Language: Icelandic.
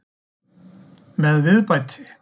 Með viðbæti.